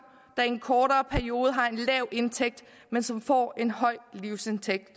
der i en kortere periode har en lav indtægt men som får en høj livsindtægt